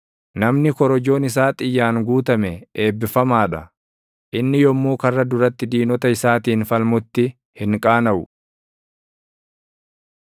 Namni korojoon isaa xiyyaan guutame eebbifamaa dha. Inni yommuu karra duratti diinota isaatiin falmutti hin qaanaʼu.